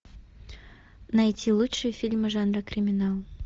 найти лучшие фильмы жанра криминал